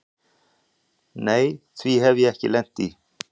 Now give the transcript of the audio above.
Nei því hef ég ekki lent í.